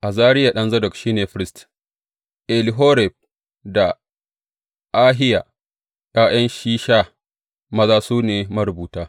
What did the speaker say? Azariya ɗan Zadok shi ne firist; Elihoref da Ahiya, ’ya’yan Shisha maza, su ne marubuta.